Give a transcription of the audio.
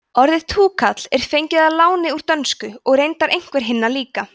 orðið túkall er fengið að láni úr dönsku og reyndar einhver hinna líka